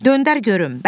Döndər görüm.